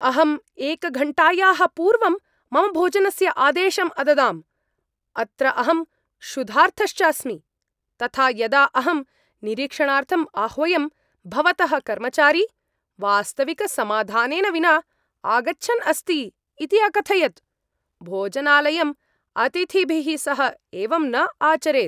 अहं एकघण्टायाः पूर्वं मम भोजनस्य आदेशम् अददां, अत्र अहं क्षुधार्तश्च अस्मि। तथा यदा अहं निरीक्षणार्थम् आह्वयं, भवतः कर्मचारी वास्तविकसमाधानेन विना आगच्छन् अस्ति इति अकथयत्। भोजनालयम् अतिथिभिः सह एवं न आचरेत्।